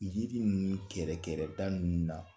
Yiri nunnu kɛrɛkɛrɛda nunnu na